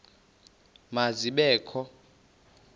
ma zibe kho